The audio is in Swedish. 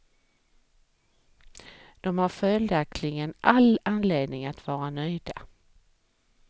De har följaktligen all anledning att vara nöjda.